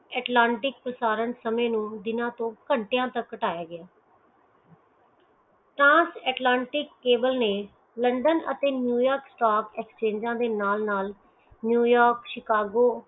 Atlantic ਪਸਾਰਨ ਸਮੇਂ ਨੂੰ ਦੀਨਾ ਤੋਂ ਕੰਟੇਂ ਤਕ ਕਟਾਯਾ ਗਿਆ ਤਾ ਅਟਲਾਂਟਿਕ ਕੇਵਲ ਨੇ ਲੰਡਨ ਤੇ ਨਿਊਯੌਰਕ ਸਟਾਕ ਐਸਚੇਂਗਾ ਦੇ ਨਾਲ ਨਾਲ ਨਿਊਯੌਰਕ ਓਫ ਸ਼ਿਕਾਗੋ